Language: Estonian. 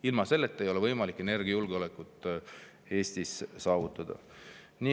Ilma selleta ei ole võimalik energiajulgeolekut Eestis saavutada.